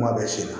Kuma bɛɛ sen na